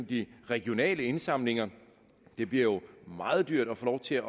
de regionale indsamlinger det bliver jo meget dyrt at få lov til at